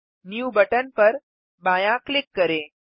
new button पर बायाँ click करें